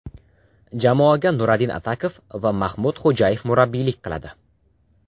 Jamoaga Nuradin Atakov va Maxmud Xo‘jayev murabbiylik qiladi.